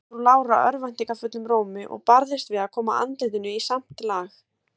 sagði frú Lára örvæntingarfullum rómi, og barðist við að koma andlitinu í samt lag.